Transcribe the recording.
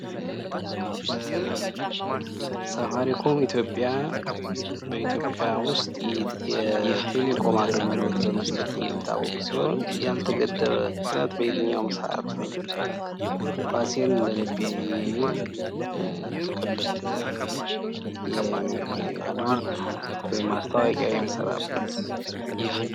ሳፋሪኮም ኢትዮጵያ በኢትዮጵያ ዉስጥ የቴሌኮም አገልግሎት በመስጠት የሚታወቅ ሲሆን ያልተገደበ ፍጥነት በየትኛዉም ሰዓት ኳሴን እንደልቤ የሚል ጥቅል ነዉ።